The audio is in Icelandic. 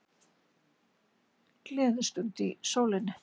Gleðistund í sólinni